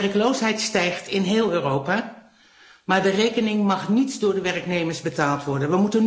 De werkloosheid stijgt in heel Europa. Maar de rekening mag niet door de werknemers betaald worden.